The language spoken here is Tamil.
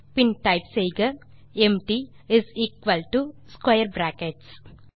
பின் டைப் செய்க empty is equal to square brackets